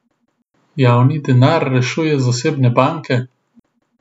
Javni denar rešuje zasebne banke?